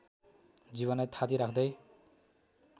जीवनलाई थाती राख्दै